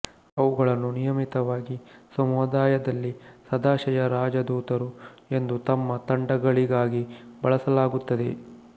ಅವುಗಳನ್ನು ನಿಯಮಿತವಾಗಿ ಸಮುದಾಯದಲ್ಲಿ ಸದಾಶಯರಾಜಧೂತರು ಎಂದು ತಮ್ಮ ತಂಡಗಳಿಗಾಗಿ ಬಳಸಲಾಗುತ್ತದೆ